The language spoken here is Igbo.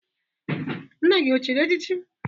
Nna gị o chịrị echịchị?